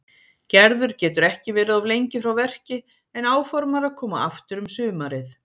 Gerður getur ekki verið of lengi frá verki en áformar að koma aftur um sumarið.